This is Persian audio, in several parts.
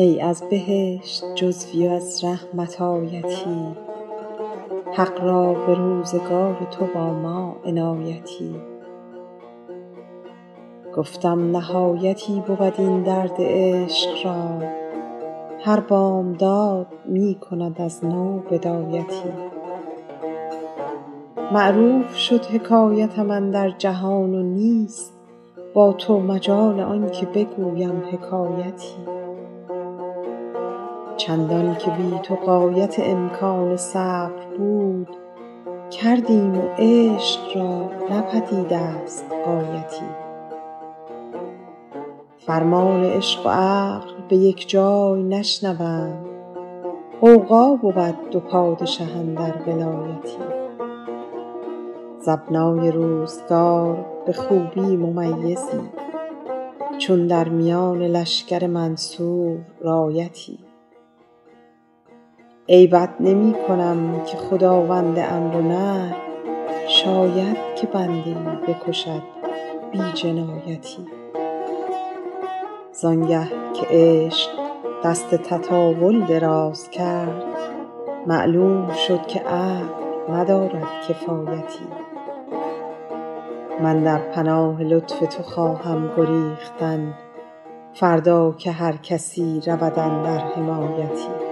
ای از بهشت جزوی و از رحمت آیتی حق را به روزگار تو با ما عنایتی گفتم نهایتی بود این درد عشق را هر بامداد می کند از نو بدایتی معروف شد حکایتم اندر جهان و نیست با تو مجال آن که بگویم حکایتی چندان که بی تو غایت امکان صبر بود کردیم و عشق را نه پدید است غایتی فرمان عشق و عقل به یک جای نشنوند غوغا بود دو پادشه اندر ولایتی ز ابنای روزگار به خوبی ممیزی چون در میان لشکر منصور رایتی عیبت نمی کنم که خداوند امر و نهی شاید که بنده ای بکشد بی جنایتی زان گه که عشق دست تطاول دراز کرد معلوم شد که عقل ندارد کفایتی من در پناه لطف تو خواهم گریختن فردا که هر کسی رود اندر حمایتی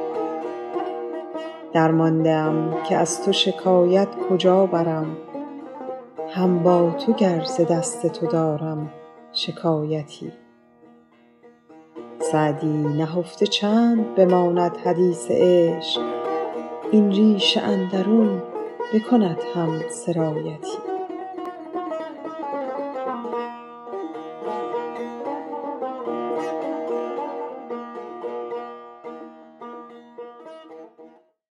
درمانده ام که از تو شکایت کجا برم هم با تو گر ز دست تو دارم شکایتی سعدی نهفته چند بماند حدیث عشق این ریش اندرون بکند هم سرایتی